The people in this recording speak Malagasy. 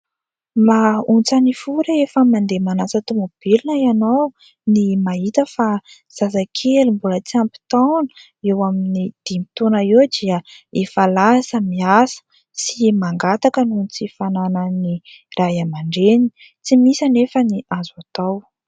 Mahaontsa ny fo rehefa mandeha manasa tômôbilina ianao ny mahita fa zazakely mbola tsy ampy taona, eo amin'ny dimy taona eo dia efa lasa miasa sy mangataka noho ny tsy fananan'ny Ray aman-dreny. Tsy misy anefa ny azo atao.